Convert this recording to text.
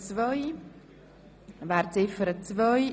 Wir kommen zu Ziffer 2.